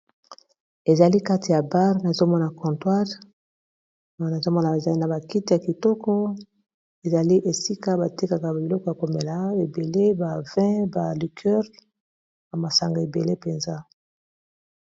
Ezali kati ya bar nazomona contoire nazomona ba ezali na bakiti ya kitoko ezali esika batekaka babiloko ya komela ebele ba ba vin, liqueur ya masanga ebele mpenza.